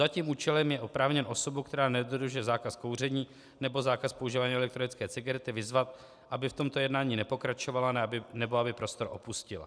Za tím účelem je oprávněn osobu, která nedodržuje zákaz kouření nebo zákaz používání elektronické cigarety, vyzvat, aby v tomto jednání nepokračovala, nebo aby prostor opustila."